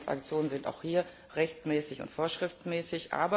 Alle Transaktionen sind auch hier rechtmäßig und vorschriftsmäßig.